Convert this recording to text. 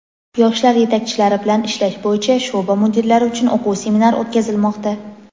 Yoshlar yetakchilari bilan ishlash bo‘yicha sho‘ba mudirlari uchun o‘quv seminar o‘tkazilmoqda.